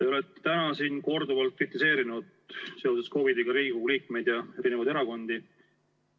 Te olete täna siin korduvalt kritiseerinud seoses COVID-iga Riigikogu liikmeid ja erakondi.